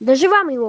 даже вам его